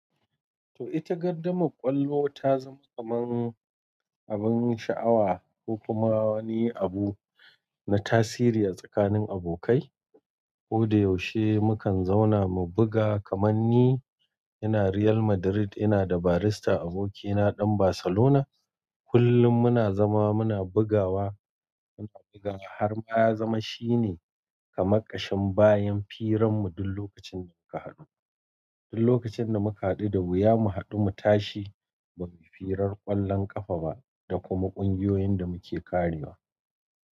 To ita gardama ƙwallo ta zama kaman abin sha'awa ko kuma wani abu na tasiri a tsakanin abokai. Ko da yaushe mukan zauna mu buga kaman ni ina Real Madrid ina da Barista abokina ɗan Barcelona. Kullum muna zama muna bugawa, muna bugawa har ma ya zama shine kama kashin bayan firan mu duk lokacin da muka haɗu. Duk lokacin da muka haɗu da wuya mu haɗu mu tashi babu firar ƙwallon ƙafa ba da kuma ƙungiyoyin da muke kariwa.